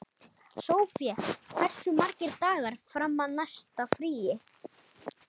Sofie, hversu margir dagar fram að næsta fríi?